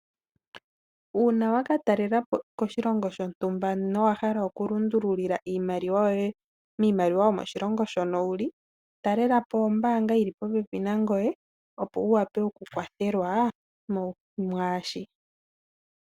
Uuna waka talelapo koshilongo shontumba nowahala oku lundululila iimaliwa yoye miimaliwa yomoshilongo shono wuli, talelapo oombanga yili popepi nangoye opo wuwape oku kwathelwa mwaashika.